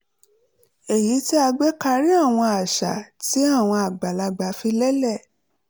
èyí tí a gbé karí àwọn àṣà tí àwọn àgbàlagbà fi lélẹ̀